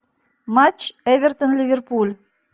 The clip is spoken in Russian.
матч эвертон ливерпуль